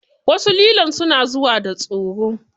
Wasu lilon suna da tsoro.